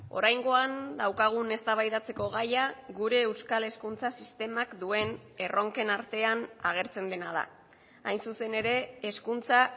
oraingoan daukagun eztabaidatzeko gaia gure euskal hezkuntza sistemak duen erronken artean agertzen dena da hain zuzen ere hezkuntza